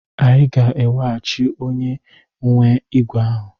Ị ga-eweghachi onye nwe ígwè ahụ!